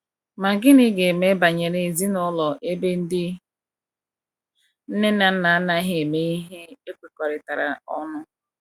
Ma gịnị ga eme banyere ezinụlọ ebe ndị nne na nna anaghi eme ihe ekwekoritara ọnụ